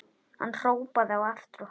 Hann hrópaði á eftir okkur.